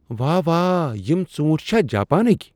واہ وا! یِم ژوٗنٹھۍ چھا جاپانٕکۍ ؟